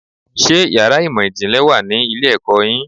Ṣé yàrá ìmọ̀ ìjìnlẹ̀ wà ní ilé-ẹ̀kọ́ yín?